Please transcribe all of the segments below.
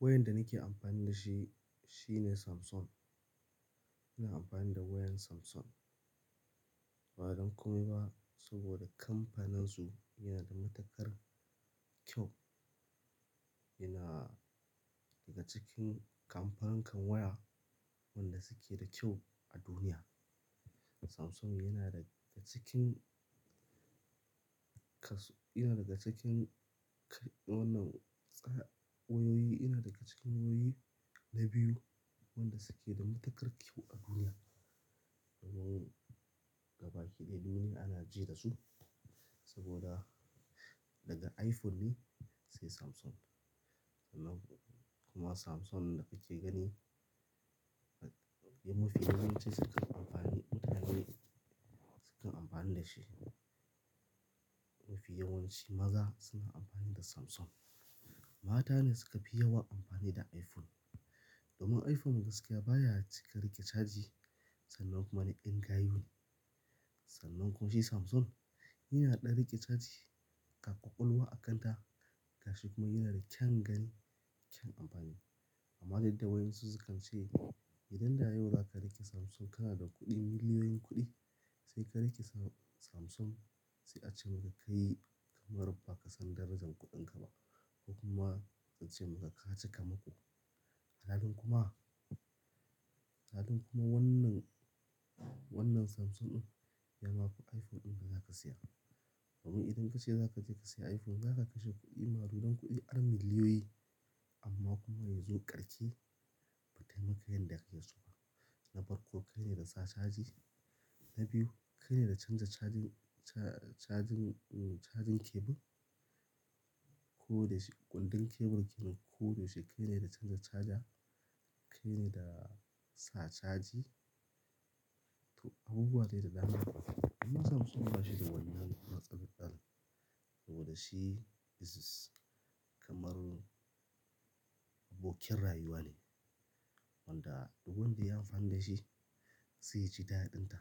Wayar da nake amfani da shi shine Samsung. Ina amfani da wayan Samsung. Ba don komai ba saboda kamfaninsu yana da matukar kyau. Yana daga cikin kamfanin kan waya wanda suke da kyau a duniya. Samsung yana daga cikin kas-- yana daga cikin wannan tsaya wayoyi, yana daga cikin wayoyi na biyu wanda suke da matakar kyau a duniya. Sabo gabaki ɗaya duniya ana ji da su saboda daga iPhone ne sai Samsung. Kuma Samsung da kuke gani mafi yawanci sukan amfani mutane sukan amfani da shi. Mafi yawanci maza suna amfani da Samsung. Mata ne suka fi yawa amfani da iPhone. Domin iPhone gaskiya baya cika riƙe caji sannan kuma na ƴan gayune. Sannan kuma shi Samsung yana ɗan riƙe caji, ga ƙwaƙwalwa a kanta gashi kuma yana da kyan gani, kyan amfani. Amma yanda wasu sukan ce idan da yau zaka riƙe Samsung kana da kuɗi, miliyoyin kuɗi sai ka riƙe Sa-Samsung sai a ce maka kai kamar ba ka san darajar kuɗinka ba ko kuma su ce maka ka chika mako. Halin kuma, halin kuma wannan, wannan Samsung ɗin ya maku iPhone ɗin da zaka saya. Saboda idan ka ce za ka je ka saya iPhone, za ka kashe kuɗi, maru don kuɗi, ar miliyoyi amma kuma yazo karti bata yi maka yadda yake so ba. Na farko kai ne da za caji, na biyu kai ne da canza cajan, cajin, cajin kebul ko da sh-- ƙundin kebul ke ko da shi kai ne da canza caja, kai ne da sa caji. To abubuwa dai da dama. Kuma Samsung ba shi da wannan matsalar saboda shi is kamar abokin rayuwa ne wanda duk wanda ya amfani da shi zai ji da'a dinta.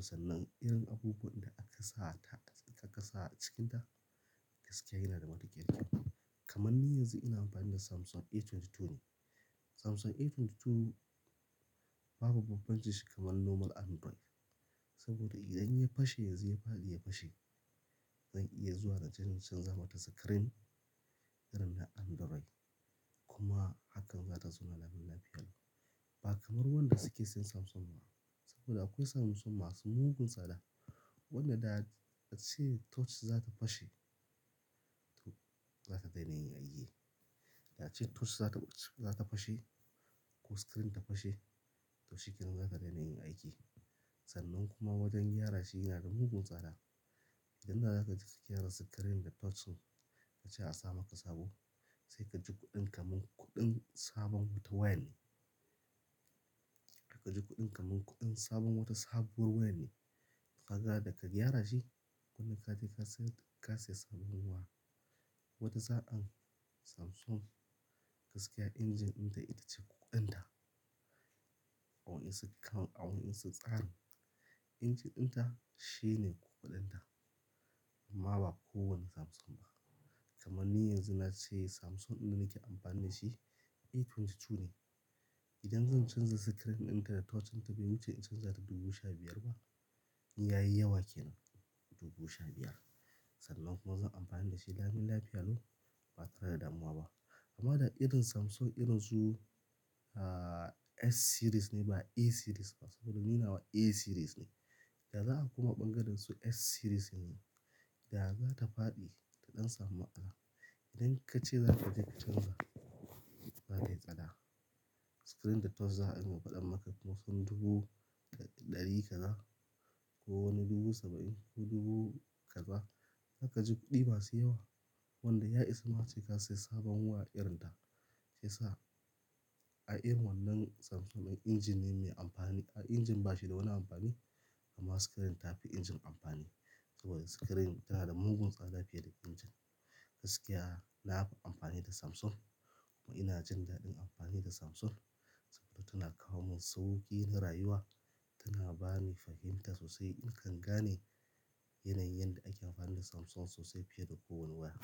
Sannan irin abubuwan da aka sa ta, aka sa a cikinta gaskiya yana da matuƙar kyau. Kamar ni yanzu ina amfani da Samsung A22 ne. Samsung A22 babu bambanci shi kamar normal Android saboda idan ya fashe yanzu ya faɗi ya fashe. Zan iya zuwa na je in canza mata screen irin na Android kuma hakan za ta tsona lamun lafiya. Ba kamar wanda suke sayan Samsung ba saboda akwai Samsung masu mugun tsada. Wanda da ace touch za ta fashe to za ta daina yin aiki. Da ce touch za ta fashe ko screen ta fashe to shi ke nan za ta daina yin aiki. Sannan kuma wajen gyara shi yana da mugun tsada. Idan za ka je ka gyara screen da touch din kuma ka ce a sa maka sabo sai ka ji kuɗin kaman kuɗin sabon wata waya ne. Ka ji kuɗin kaman kuɗin sabon wata sabuwar waya ne. Ka ga da ka gyara shi gonda ka je ka sayar, ka sayi sabon wa. Wata sa'an Samsung gaskiya injin ɗinta ita ce ƙuƙunɗinta. A wani su kan, a wani su tsani. Injin ɗinta shi ne ƙuƙunɗinta amma ba kowane Samsung ba. Kamar ni yanzu na ce Samsung ɗin nake amfani da shi A22 ne. Idan zan canza screen ɗinta da touch ɗinta bai wuce in canza ta dubu sha biyar ba, in ya yi yawa kenan dubu sha biyar. Sannan kuma zan amfani da shi lamun lafiya lau ba tare da damuwa ba. Amma da irin Samsung irin su, ah, S series ne ba A series ba saboda ni nawa A series ne. Da za a kuma ɓangaren su S series ne, da za ta fadi ta ɗan samu'a. Idan ka ce za ka je ka canza za tayi tsada. Screen da touch za a iya faɗa maka kusan dubu da ɗari kaza ko wani dubu saba'in ko dubu kaza. Za ka ji kuɗi masu yawa wanda ya isa ma ace ka siya sabon waya irin ta. Sai sa a irin wannan Samsung injin ne mai amfani. Ah, injin ba shi da wani amfani amma screen ta fi injin amfani saboda screen tana da mugun tsada fiye da injin. Gaskiya na fa amfani da Samsung kuma ina jin dadin amfani da Samsung saboda tana kawo min sauƙi na rayuwa. Tana bani fahimta sosai. In kan gane yanayin yanda ake amfani da Samsung sosai fiye da kowani waya.